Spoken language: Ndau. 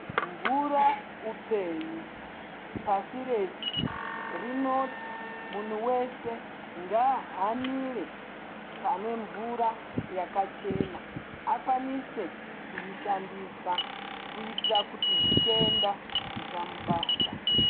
Mvura upenyu pasi rese rinoti munhu wese ngaahanire pane mvura yakachena akwanise kuishandisa kuitira kuti zvitenda zvisamubata.